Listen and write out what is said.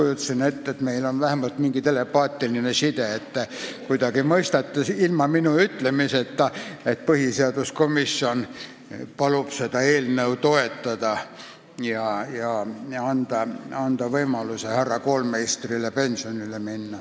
Ma kujutasin ette, et meil on mingi telepaatiline side, et te mõistate ilma minu ütlemiseta, et põhiseaduskomisjon palub seda eelnõu toetada ja anda härra Koolmeistrile võimalus pensionile minna.